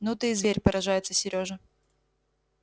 ну ты и зверь поражается серёжа